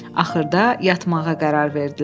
Axırda yatmağa qərar verdilər.